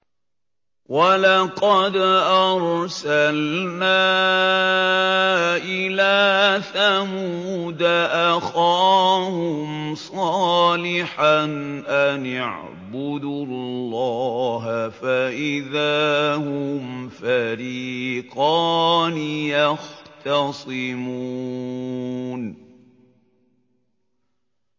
وَلَقَدْ أَرْسَلْنَا إِلَىٰ ثَمُودَ أَخَاهُمْ صَالِحًا أَنِ اعْبُدُوا اللَّهَ فَإِذَا هُمْ فَرِيقَانِ يَخْتَصِمُونَ